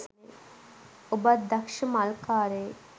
ඔබත් දක්ෂ මල්කාරයෙක්